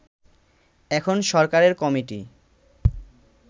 এখন সরকারের কমিটি